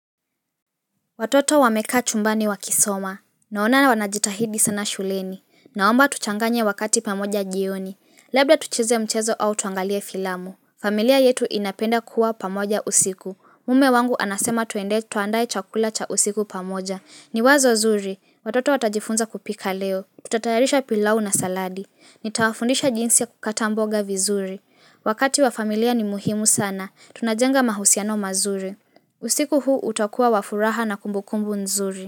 Watoto wamekaa chumbani wakisoma. Naona wanajitahidi sana shuleni. Naomba tuchanganye wakati pamoja jioni. Labda tucheze mchezo au tuangalie filamu. Familia yetu inapenda kuwa pamoja usiku. Mume wangu anasema tuende, tuandaye chakula cha usiku pamoja. Ni wazo zuri. Watoto watajifunza kupika leo. Tutatayarisha pilau na saladi. Nitawafundisha jinsi ya kukata mboga vizuri. Wakati wa familia ni muhimu sana. Tunajenga mahusiano mazuri. Usiku huu utakuwa wa furaha na kumbukumbu nzuri.